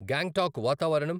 గ్యాంగ్టాక్ వాతావరణం